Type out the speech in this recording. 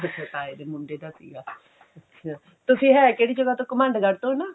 ਅੱਛਾ ਤਾਏ ਦੇ ਮੁੰਡੇ ਦਾ ਸੀਗਾ ਅੱਛਾ ਤੁਸੀਂ ਹੈ ਕਿਹੜੀ ਜਗ੍ਹਾ ਤੋਂ ਘਮੰਡਗੜ ਤੋਂ ਨਾ